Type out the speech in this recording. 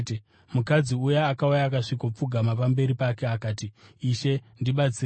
Mukadzi uya akauya akasvikopfugama pamberi pake akati, “Ishe, ndibatsireiwo!”